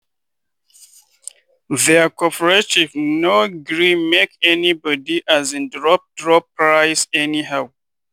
their cooperative no gree make anybody um drop drop price anyhow.